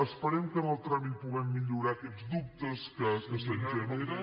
esperem que en el tràmit puguem millorar aquests dubtes que se’ns generen